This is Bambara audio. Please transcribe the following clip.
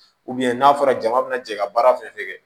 n'a fɔra jama bina jɛ ka baara fɛn fɛn kɛ